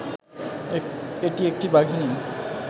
এটি একটি বাঘিনী